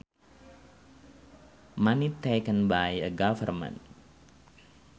Money taken by a government